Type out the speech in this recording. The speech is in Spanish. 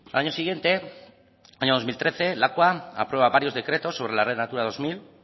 año siguiente año dos mil trece lakua aprueba varios decretos sobre la red natura dos mil